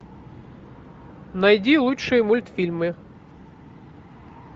найди лучшие мультфильмы